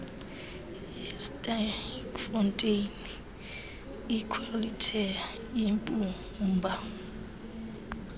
yesterkfontein iqulethe imbumba